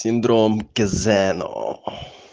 синдром кезено